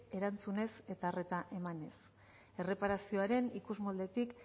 entzunez eta arreta emanez erreparazioaren ikusmoldetik